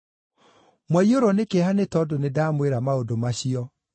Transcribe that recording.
Mwaiyũrwo nĩ kĩeha nĩ tondũ nĩndamwĩra maũndũ macio.